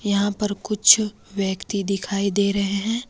यहां पर कुछ व्यक्ति दिखाई दे रहे हैं।